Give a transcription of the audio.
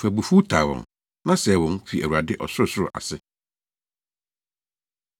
Fa abufuw taa wɔn, na sɛe wɔn fi Awurade ɔsorosoro ase.